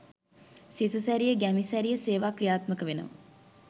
සිසු සැරිය ගැමි සැරිය සේවා ක්‍රියාත්මක වෙනවා